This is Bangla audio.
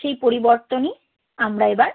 সেই পরিবর্তনই আমরা এবার